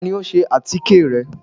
Tani o sè atike rẹ?